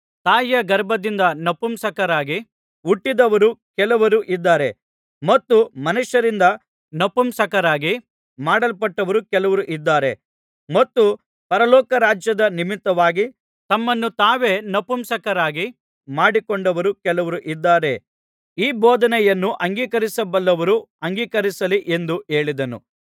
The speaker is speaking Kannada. ತಾಯಿಯ ಗರ್ಭದಿಂದ ನಪುಂಸಕರಾಗಿ ಹುಟ್ಟಿದವರು ಕೆಲವರು ಇದ್ದಾರೆ ಮತ್ತು ಮನುಷ್ಯರಿಂದ ನಪುಂಸಕರಾಗಿ ಮಾಡಲ್ಪಟ್ಟವರು ಕೆಲವರು ಇದ್ದಾರೆ ಮತ್ತು ಪರಲೋಕ ರಾಜ್ಯದ ನಿಮಿತ್ತವಾಗಿ ತಮ್ಮನ್ನು ತಾವೇ ನಪುಂಸಕರಾಗಿ ಮಾಡಿಕೊಂಡವರು ಕೆಲವರು ಇದ್ದಾರೆ ಈ ಬೋಧನೆಯನ್ನು ಅಂಗೀಕರಿಸಬಲ್ಲವರು ಅಂಗೀಕರಿಸಲಿ ಎಂದು ಹೇಳಿದನು